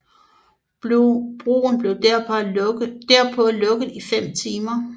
Broen blev derpå lukket i 5 timer